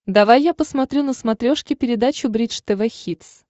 давай я посмотрю на смотрешке передачу бридж тв хитс